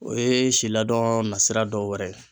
O ye si laadon na sira dɔ wɛrɛ ye.